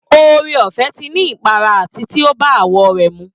Oore ọ̀fẹ́ ti ní ipara àti pé ó bá àwọ̀ rẹ̀ mu